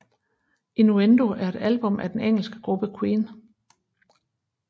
Innuendo er et album af den engelske gruppe Queen